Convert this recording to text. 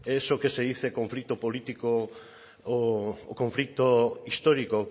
eso que se dice conflicto político o conflicto histórico